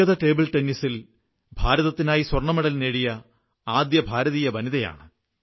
വ്യക്തിഗത ടേബിൾ ടെന്നീസിൽ ഭാരതത്തിനായി സ്വർണ്ണമെഡൽ നേടിയ ആദ്യ ഭാരതീയ വനിതയാണ് അവർ